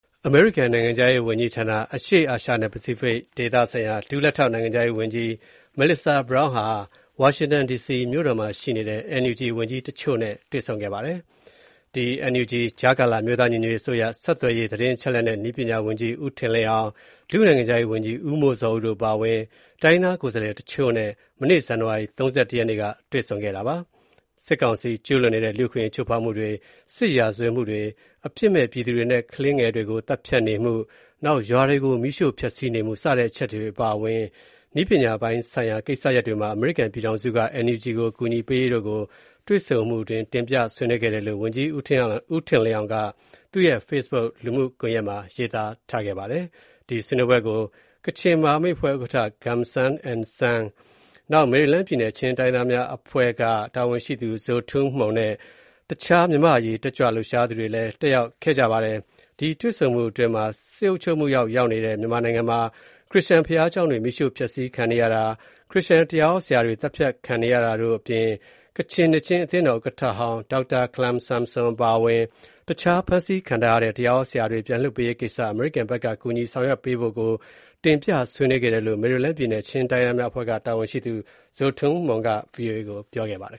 အမေရိကန်နိုင်ငံခြားရေးဌာန အရှေ့အာရှနဲ့ ပစိဖိတ်ဒေသဆိုင်ရာ ဒုလက်ထောက်နိုင်ငံခြားရေးဝန်ကြီး Melissa Brown ဟာ NUG ကြားကာလ အမျိုးသားညီညွတ်ရေးအစိုးရ ဆက်သွယ်ရေး၊ သတင်းအချက်အလက်နှင့် နည်းပညာဝန်ကြီး ဦးထင်လင်းအောင်၊ ဒုနိုင်ငံခြားရေးဝန်ကြီး ဦးမိုးဇော်ဦးတို့ အပါအဝင် တိုင်းရင်းသားကိုယ်စားလှယ်အချို့နဲ့ မနေ့ ဇန်နဝါရီ ၃၁ ရက်နေ့က တွေ့ဆုံခဲ့ပါတယ်။ စစ်ကောင်စီ ကျူးလွန်နေတဲ့ လူ့အခွင့်အရေးချိုးဖောက်မှုတွေ စစ်ရာဇဝတ်မှုတွေ အပြစ်မဲ့ ပြည်သူတွေနဲ့ ကလေးသူငယ်တွေကို သတ်ဖြတ်နေမှု၊ ရွာတွေကိုမီးရှို့ ဖျက်ဆီးနေမှု စတဲ့အချက်တွေအပါအဝင် နည်းပညာပိုင်းဆိုင်ရာ ကိစ္စရပ်တွေမှာ အမေရိကန်ပြည်ထောင်စုက NUG ကို ကူညီပေးရေးတို့ကို တွေ့ဆုံမှုအတွင်း တင်ပြဆွေးနွေးခဲ့တယ်လို့ ဝန်ကြီး ဦးထင်လင်းအောင်က သူ့ရဲ့ Facebook လူမှုကွန်ယက်မှာ ရေးသားထားပါတယ်။ ဒီဆွေးနွေးပွဲကို ကချင်မဟာမိတ်အဖွဲ့ ဥက္ကဋ္ဌ ဦးဂွန်ဆမ် (Gum San N Sang) ၊ မယ်ရီလန်းပြည်နယ် ချင်းတိုင်းရင်းသားများအဖွဲ့က တာဝန်ရှိသူ Zo Tum Hmung နဲ့ တခြား မြန်မာ့အရေးတက်ကြွလှုပ်ရှားသူတွေလည်း တက်ရောက်ခဲ့ကြပါတယ်။ ဒီ တွေ့ဆုံမှုအတွင်း စစ်အုပ်ချုပ်မှုအောက်ရောက်နေတဲ့ မြန်မာနိုင်ငံမှာ ခရစ္စယာန် ဘုရားကျောင်းတွေ မီးရှို့ ဖျက်ဆီးခံနေရတာ၊ ခရစ္စယာန် တရားဟောဆရာတွေ သတ်ဖြတ်ခံနေရတာတို့အပြင် ကချင်နှစ်ခြင်းအသင်းတော်ဥက္ကဌဟောင်း ဒေါက်တာခလမ်ဆမ်ဆွမ် အပါအဝင် တခြား ဖမ်းဆီးခံထားရတဲ့ တရားဟောဆရာတွေ ပြန်လွှတ်ပေးရေးကိစ္စ အမေရိကန်ဘက်က ကူညီဆောင်ရွက်ပေးဖို့တို့ကို တင်ပြဆွေးနွေးခဲ့တယ်လို့ မယ်ရီလန်းပြည်နယ် ချင်းတိုင်းရင်းသားများအဖွဲ့က တာဝန်ရှိသူ Zo Tum Hmung က ဗွီအိုအေကို ပြောပါတယ်